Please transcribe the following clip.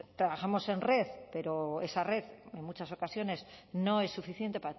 trabajamos en red pero esa red en muchas ocasiones no es suficiente